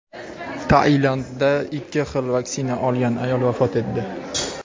Tailandda ikki xil vaksina olgan ayol vafot etdi.